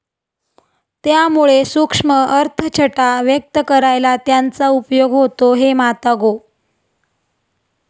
त्यामुळे सूक्ष्म अर्थछटा व्यक्त करायला त्यांचा उपयोग होतो हे माता गो.